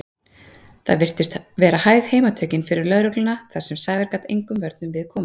Það virtust vera hæg heimatökin fyrir lögregluna þar sem Sævar gat engum vörnum við komið.